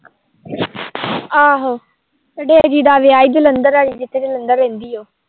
ਆਹੋ ਡੇਜੀ ਦਾ ਵਿਆਹ ਸੀ ਜਲੰਧਰ ਵਾਲੀ ਇੱਕ ਜਲੰਧਰ ਰਹਿੰਦੀ ਉਹ